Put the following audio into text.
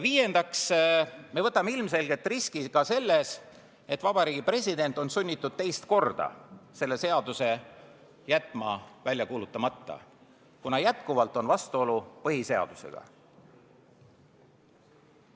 Viiendaks, me võtame ilmselgelt ka selle riski, et Vabariigi President on sunnitud teist korda selle seaduse jätma välja kuulutamata, kuna jätkuvalt on vastuolu põhiseadusega.